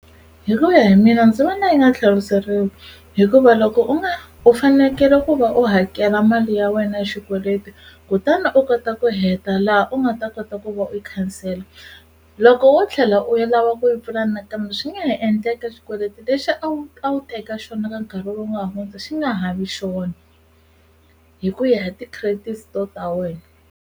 Hi ku ya hi mina ndzi vona yi nga tlheriseriwi hikuva loko u nga u fanekele ku va u hakela mali ya wena ya xikweleti kutana u kota ku heta laha u nga ta kota ku va u yi khansela loko wo tlhela u ya lava ku yi pfula nakambe swi nga ha endleka xikweleti lexi a wu a wu teka xona ka nkarhi lowu nga hundza xi nga ha vi xona hi ku ya hi ti-credit score ta wena.